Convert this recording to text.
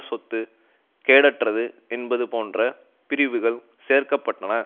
சொத்து கேடற்றது என்பது போன்ற பிரிவுகள் சேர்க்கப்பட்டன